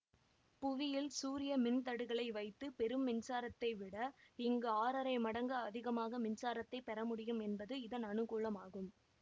புவியில் சூரிய மின்தடுகளை வைத்து பெரும் மின்சாரத்தை விட இங்கு ஆறரை மடங்கு அதிகமாக மின்சாரத்தைப் பெற முடியும் என்பது இதன் அனுகூலமாகும்